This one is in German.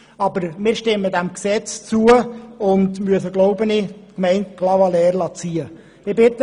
Aber wir stimmen diesem Gesetz zu und müssen wohl die Gemeinde Clavaleyres ziehen lassen.